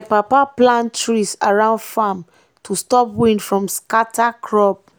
my papa plant trees around farm to stop wind from scatter crop.